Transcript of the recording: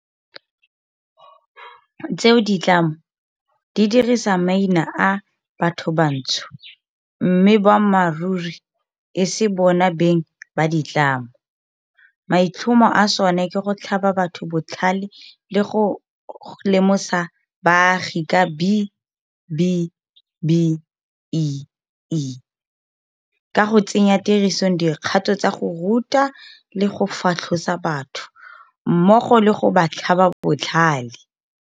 tseo ditlamo di dirisang maina a bathobantsho mme boammaruri e se bona beng ba ditlamo, maitlhomo a sona ke go tlhaba batho botlhale le go lemosa baagi ka B-BBEE, ka go tsenya tirisong dikgato tsa go ruta le go fatlhosa batho, mmogo le go ba tlhaba botlhale.